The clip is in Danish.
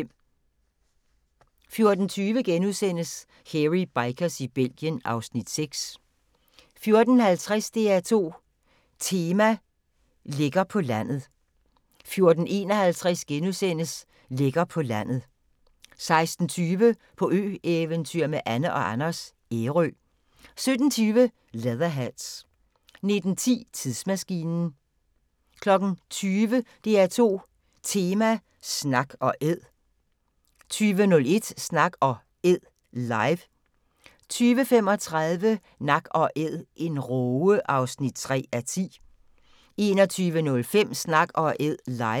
14:20: Hairy Bikers i Belgien (Afs. 6)* 14:50: DR2 Tema: Lækker på landet 14:51: Lækker på landet * 16:20: På ø-eventyr med Anne & Anders - Ærø 17:20: Leatherheads 19:10: Tidsmaskinen 20:00: DR2 Tema: Snak & Æd 20:01: Snak & Æd – live 20:35: Nak & æd - en råge (3:10) 21:05: Snak & Æd – live